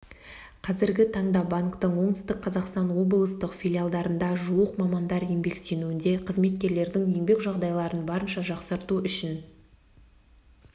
қазіргі таңда банктің оңтүстік қазақстан облыстық филиалдарында жуық мамандар еңбектенуде қызметкерлердің еңбек жағдайларын барынша жақсарту үшін